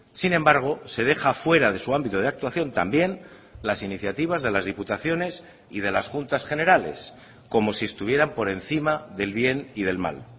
sin embargo se deja fuera de su ámbito de actuación también las iniciativas de las diputaciones y de las juntas generales como si estuvieran por encima del bien y del mal